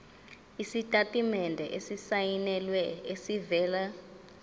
isitatimende esisayinelwe esivela